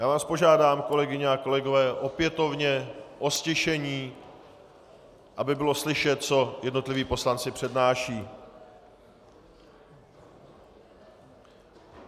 Já vás požádám, kolegyně a kolegové, opětovně o ztišení, aby bylo slyšet, co jednotliví poslanci přednášejí.